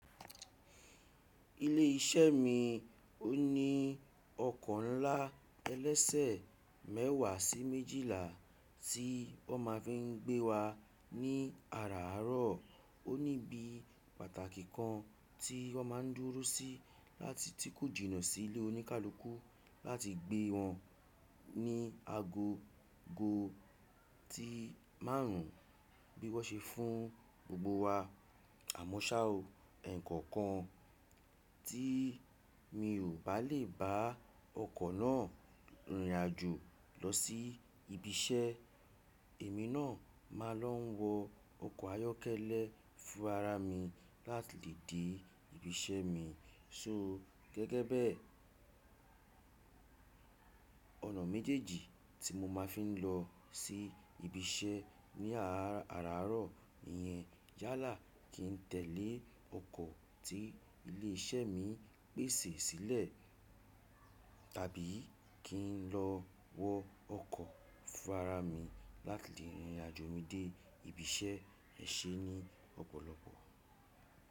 Ilé iṣẹ́ mi ó ní ọkọ̀ ńlá ẹlẹ́sẹ̀ mẹ́wàá sí méjìlá tí wọ́n ma fi ń gbé wa ní àràárọ̀. Ó ní ibi pàtàkì kan tí wọ́n má ń dúró sí láti tí kù jìnà sí ilé oníkálukú láti gbé wọn ní ago go tí márùn ún bí wọ́n ṣe fún gbogbo wa. Àmọ́ ṣá o, ẹ̀ẹ̀kọ̀kan tí mi ò bá lè bá ọkọ̀ náà rìnrìn àjò lọ sí ibi iṣẹ́, èmi náà má a lọ wọ ọkọ̀ ayọ́kẹ́lẹ́ fún ara mi láti lè dé ibi iṣẹ́ mi. So gẹ́gẹ́ bẹ́ẹ̀, ọ̀nà méjèèjì tí mo máa fi ń lọ sí ibi iṣẹ́ ní àràárọ̀ iyẹn yálà kí ń tẹ̀lẹ́ ọkọ̀ tí ilé iṣẹ́ mi pèsè sílẹ̀ tàbí kí ń lọ wọ ọkọ̀ fún ara mi láti lè rìnrìn àjò mi dé ibi iṣẹ́ è ṣe ní ọ̀pọ̀lọpọ̀.